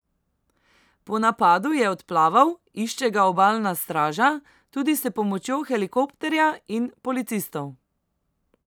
Po napadu je odplaval, išče ga obalna straža, tudi s pomočjo helikopterja in policistov.